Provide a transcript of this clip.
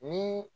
Ni